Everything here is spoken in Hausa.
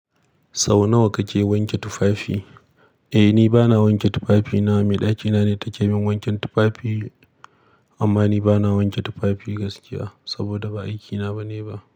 Sau nawa kake wanke tufafi? Eh, ni bana wanke tufafina. Mai ɗakina ne ta ke bin wanken tufafi, amma ni bana wanke tufafi gaskiya saboda ba aikina ba ne ba.